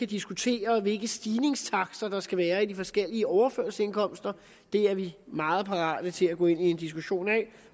diskutere hvilke stigningstakter der skal være i de forskellige overførselsindkomster det er vi meget parate til at gå ind i en diskussion af